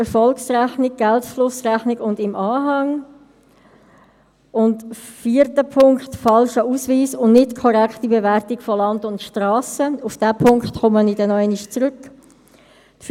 Einführung eines ERP-Systems: Der Regierungsrat wird aufgefordert, die Erkenntnisse aus den Problemen bei der Einführung von HRM2 in die Einführung des ERP-Systems einfliessen zu lassen.